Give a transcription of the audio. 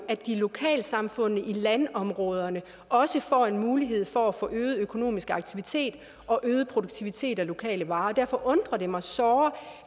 at lokalsamfundene i landområderne også får en mulighed for at få øget økonomisk aktivitet og øget produktivitet med lokale varer derfor undrer det mig såre